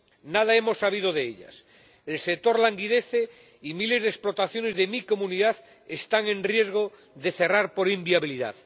Nada hemos sabido de ellas. El sector languidece, y miles de explotaciones de mi Comunidad están en riesgo de cerrar por inviabilidad.